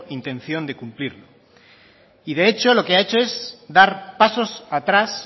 intención de cumplirlo y de hecho lo que ha hecho es dar pasos atrás